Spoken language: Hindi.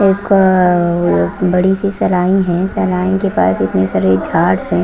एक और बड़ी सी सेलोनी है सेलोन के पास इतनी सारी झाड़स है।